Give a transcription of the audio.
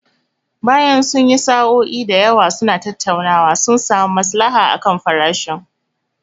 Bayan sun yi sa'o'i da yawa suna tattaunawa, sun samu masalaha akan farashin.